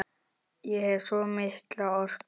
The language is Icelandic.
Ég hef svo mikla orku.